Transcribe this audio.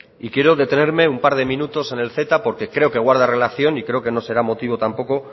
y quiero detenerme un par de minutos en el ceta porque creo que guarda relación y creo que no será motivo tampoco